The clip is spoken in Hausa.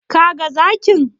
Ka ga zakin?